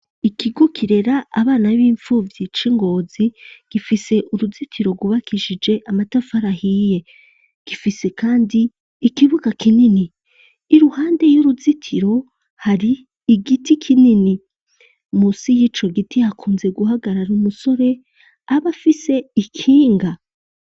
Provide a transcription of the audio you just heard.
Ikigukirera abana b'impfuvyi c'ingozi gifise uruzitiro rubakishije amatafu arahiye gifise, kandi ikibuga kinini i ruhande y'uruzitiro hari igiti kinini musi y'ico giti hakunze guhagarara umusore aba afise ikinga ga.